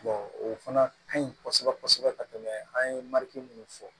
o fana ka ɲi kosɛbɛ kosɛbɛ ka tɛmɛ an ye mun fɔ